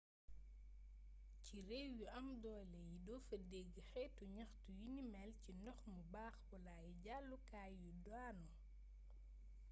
ci réew yu am doolé yi dofa dégg xétu gnaxtu yuni mél ci ndox mu baax wala ay jallu kaay yu daanu